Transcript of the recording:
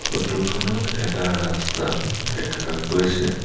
Photo খনত এটা ৰাস্তা দেখা গৈছে।